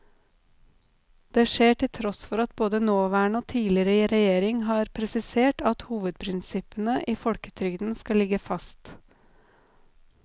Det skjer til tross for at både nåværende og tidligere regjeringer har presisert at hovedprinsippene i folketrygden skal ligge fast.